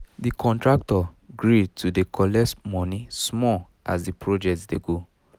d contractor gree to dey collect money small as the dey project dey go